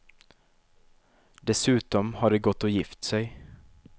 Dessutom har de gått och gift sig.